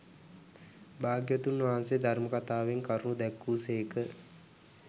භාග්‍යවතුන් වහන්සේ ධර්ම කථාවෙන් කරුණු දැක්වූ සේක